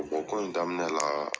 kɔ in daminɛ la